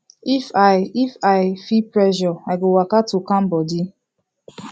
if i if i feel pressure i go waka to calm body